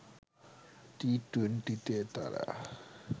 টি-২০তে তারা